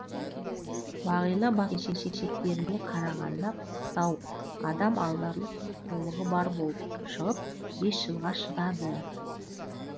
бағила басқа келіншектеріне қарағанда пысықтау адам алдарлықтай қулығы бар болып шығып бес жылға шыдады